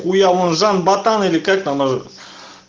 хуя он жан ботан или как там нажы